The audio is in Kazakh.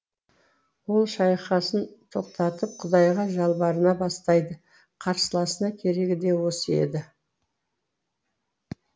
ол шайқасын тоқтатып құдайға жалбарына бастайды қарсыласына керегі де осы еді